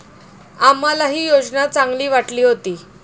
आम्हालाही योजना चांगली वाटली होती.